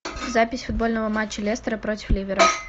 запись футбольного матча лестера против ливера